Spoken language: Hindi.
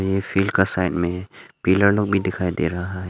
ये फील्ड का साइड में पीला लोग भी दिखाई दे रहा है।